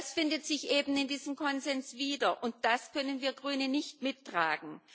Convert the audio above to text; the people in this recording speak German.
Das findet sich eben in diesen Konsens wieder, und das können wir Grüne nicht mittragen.